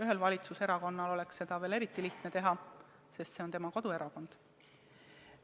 Ühel valitsuserakonnal oleks seda veel eriti lihtne teha, sest see on tema kodune piirkond.